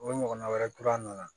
O ɲɔgɔnna wɛrɛ kura nana